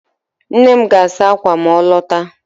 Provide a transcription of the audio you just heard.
Nne m ga-asa akwa ma ọ lọta